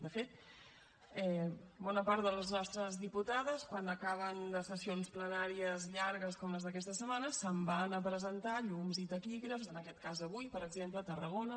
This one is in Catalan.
de fet bona part de les nostres diputades quan acaben les sessions plenàries llargues com la d’aquesta setmana se’n van a presentar llums i taquígrafs en aquest cas avui per exemple a tarragona